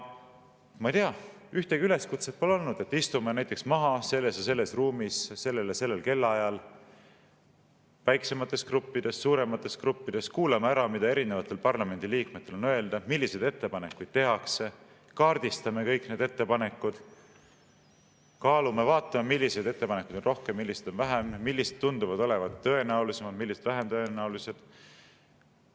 Ma ei tea, ühtegi üleskutset pole olnud, et istume maha selles ja selles ruumis, sellel ja sellel kellaajal, väiksemates gruppides, suuremates gruppides, kuulame ära, mida erinevatel parlamendiliikmetel on öelda, milliseid ettepanekuid tehakse, kaardistame kõik need ettepanekud, kaalume, vaatame, milliseid ettepanekuid on rohkem, milliseid on vähem, millised tunduvad olevat tõenäolisemad, millised vähem tõenäolised.